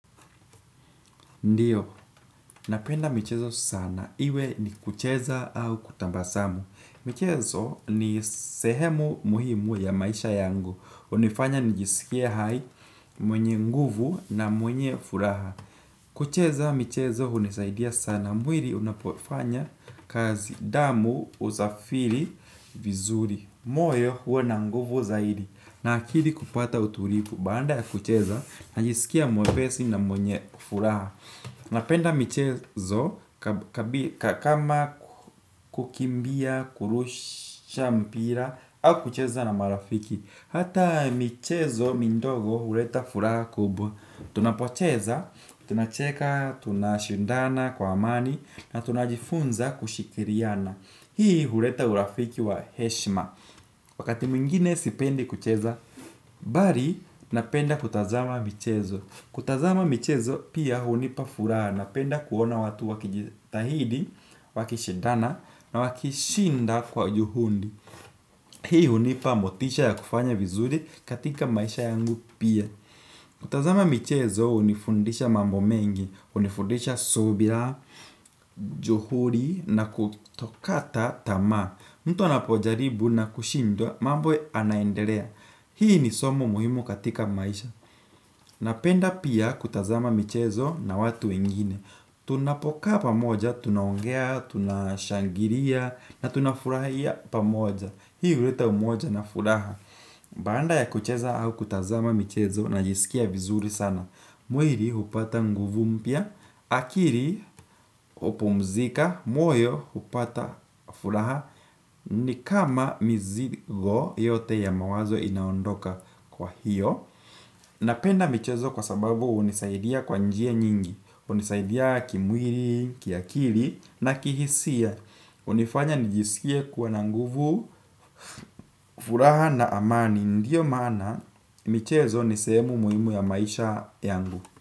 Ndiyo, napenda michezo sana. Iwe ni kucheza au kutambasamu. Michezo ni sehemu muhimu ya maisha yangu. Unifanya nijisikie hai mwenye nguvu na mwenye furaha. Kucheza michezo hunisaidia sana. Mwiri unapofanya kazi damu uzafiri vizuri. Moyo huwa na nguvu zaidi. Na akili kupata utulipu. Baanda ya kucheza najisikia mwepesi na mwenye furaha. Napenda michezo ka kama kukimbia, kurusha mpira, au kucheza na marafiki. Hata michezo mindogo hureta furaha kubwa. Tunapwacheza, tunacheka, tunashindana kwa amani, na tunajifunza kushikiriana. Hii hureta urafiki wa heshma. Wakati mwingine sipendi kucheza. Bari, napenda kutazama michezo. Kutazama michezo pia hunipa furaha. Napenda kuona watu wakijitahidi, wakishidana na wakishinda kwa juhundi. Hii unipa motisha ya kufanya vizuri katika maisha yangu pia. Kutazama michezo unifundisha mambo mengi. Unifundisha subila juhudi na kutokata tama. Mtu anapojaribu na kushindwa mambo anaenderea. Hii ni somo muhimu katika maisha. Napenda pia kutazama michezo na watu wengine. Tunapokaa pamoja, tunaongea, tunashangiria na tunafurahia pamoja. Hii uleta umoja na furaha. Baanda ya kucheza au kutazama michezo najisikia vizuri sana. Mwiri upata nguvu mpya. Akiri upumzika, moyo hupata furaha. Ni kama mizigo yote ya mawazo inaondoka kwa hiyo. Napenda michezo kwa sababu unisaidia kwa njia nyingi unisaidia kimwiri, kiakiri na kihisia unifanya nijisikie kuwa na nguvu, furaha na amani. Ndiyo maana michezo ni sehemu muimu ya maisha yangu.